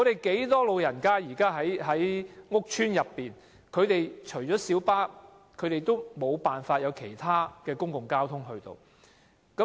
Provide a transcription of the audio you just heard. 可是，很多住在屋邨的長者，除了小巴便沒有其他公共交通工具。